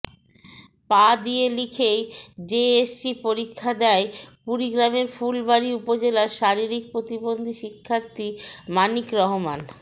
পা দিয়ে লিখেই জেএসসি পরীক্ষা দেয় কুড়িগ্রামের ফুলবাড়ী উপজেলার শারীরিক প্রতিবন্ধী শিক্ষার্থী মানিক রহমান